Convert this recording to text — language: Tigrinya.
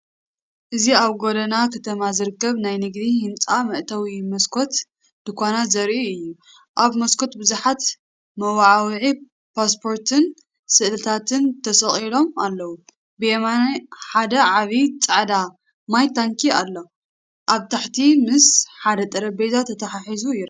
እዚ ኣብ ጎደና ከተማ ዝርከብ ናይ ንግዲ ህንጻ መእተዊን መስኮት ድኳናትን ዘርኢ እዩ። ኣብ መስኮት ብዙሓት ናይ መወዓውዒ ፖስተራትን ስእልታትን ተሰቒሎም ኣለዉ። ብየማን ሓደ ዓቢ ጻዕዳ ማይ ታንኪ ኣሎ፣ ኣብ ታሕቲ ምስ ሓደ ጠረጴዛ ተተሓሒዙ ይርከብ።